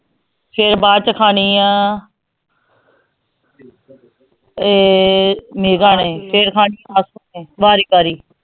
ਫਿਰ ਬਾਅਦ ਚ ਖਾਣੀ ਆਂ ਇਹ ਮੇਘਾ ਨੇ ਫਿਰ ਵਾਰੀ ਵਾਰੀ